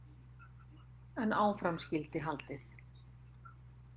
En áfram skyldi haldið.